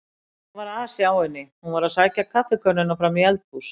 Það var asi á henni, hún var að sækja kaffikönnuna fram í eldhús.